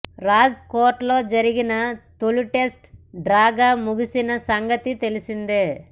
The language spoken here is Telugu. రాజ్ కోట్లో జరిగిన తొలి టెస్టు డ్రాగా ముగిసిన సంగతి తెలిసిందే